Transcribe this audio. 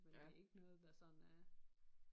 Men det ikke noget der sådan er